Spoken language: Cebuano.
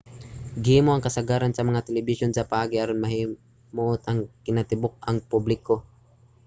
gihimo ang kasagaran sa mga telebisyon sa paagi aron mahimuot ang kinatibuk-ang publiko